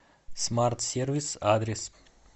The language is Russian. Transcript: смарт сервис адрес